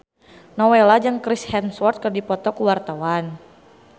Nowela jeung Chris Hemsworth keur dipoto ku wartawan